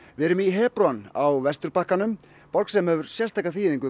við erum í á Vesturbakkanum borg sem hefur sérstaka þýðingu